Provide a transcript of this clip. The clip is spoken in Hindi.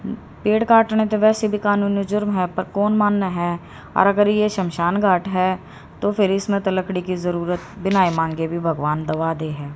पेड़ काटने ते वैसे भी कानूनी जुर्म है पर कौन माने है और अगर ये शमशान घाट है तो फिर इसमे तो लकड़ी की जरूरत बिना ही मांगे भी भगवान दबादे है।